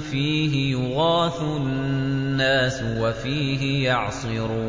فِيهِ يُغَاثُ النَّاسُ وَفِيهِ يَعْصِرُونَ